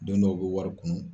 Don dɔw , u bɛ wari kunun.